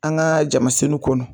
An ga jamasennu kɔnɔ